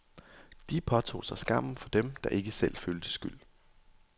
De påtog sig skammen for dem, der ikke selv følte skyld.